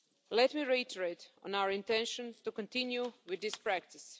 Let me reiterate our intention to continue with this practice.